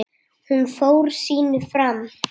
Hún fór sínu fram.